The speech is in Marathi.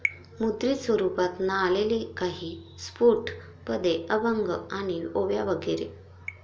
मुद्रित स्वरूपात ना आलेली काही स्फुट पदे, अभंग आणि ओव्या, वगैरे.